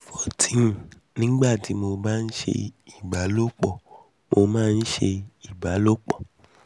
14 nígbà tí mo bá ń ṣe ìbálòpọ̀ mo máa ń máa ń ṣe ìbálòpọ̀